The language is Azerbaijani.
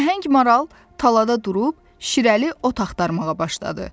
Nəhəng maral talada durub, şirəli ot axtarmağa başladı.